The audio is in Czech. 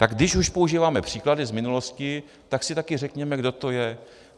Tak když už používáme příklady z minulosti, tak si také řekněme, kdo to je.